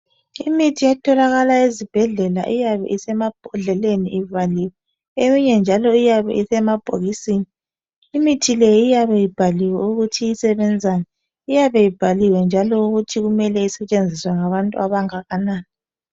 imithi etholakala ezibhedlela iyabe isemabhodleleni ivaliwe eyinye njalo iyabe isemabhokisini imithi le iyabe ibhaliwe ukuthi isbenzani iyabe ibhaliwe njalo ukuthi mele isebenziswe ngabantu abangakanani